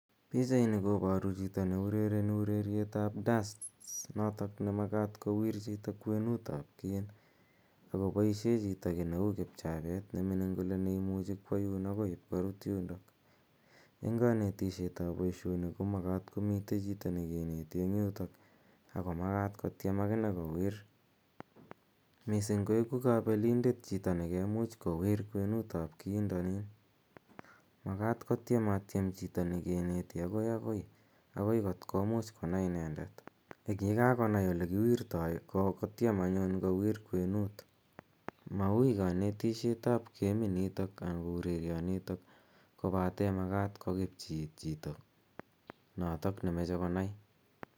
Pichaini koparu chito ne urereni ureriet ap dats notok ne makat kowir chito kwenuut ap kiin ako paishe chito ki ne kipchapet ne mining' ne imuchi kwa yun akoi ipkorut yundo. Eng' kanetisiet ap poishoni ko makat ko mitei chito ne kineti en yotok ako makat kotiem akine kowir. Missing koeku kapelindet chito ne kemuch kowir kwenuut ap kiindanin. Makat kotieatiem chito ne kineti agoi agoi agoi kot komuch konai inendet. Ye kakonai olekiwirtai kotiem anyuun kowir kwenuut. Maui kanetishet ap geminitok anan ko urerionitok kopate makat koepchi iit chito notok ne mache konai